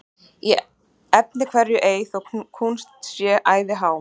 Í efni hverju ei þó kúnst sé æði há,